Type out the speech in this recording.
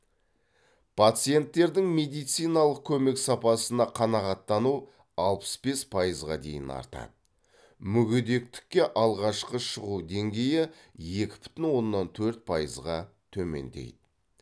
пациенттердің медициналық көмек сапасына қанағаттану алпыс бес пайызға дейін артады мүгедектікке алғашқы шығу деңгейі екі бүтін оннан төрт пайызға төмендейді